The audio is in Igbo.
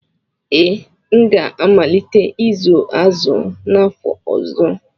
Ee, m ga-amalite ịzụ azụ n'afọ ọzọ.